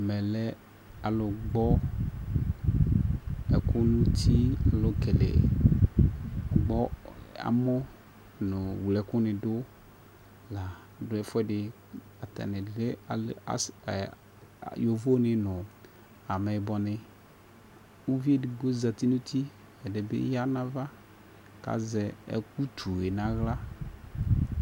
Ɛmɛ lɛ alʋ gbɔ ɛkʋ nʋ ti alʋ kɛle ɔgbɔ amɔ nʋ wle ɛkʋ ni dʋ la dʋ ɛfuedi Atani lɛ alɛ asi aa lɛ yovo ni nʋ amɛyibɔ ni Uvi ɛdigbo di zati nʋ ti ɛdibi ya nʋ ava kazɛ ɛ utu yɛ n'aɣla